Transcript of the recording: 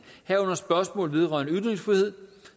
herunder spørgsmål vedrørende ytringsfrihed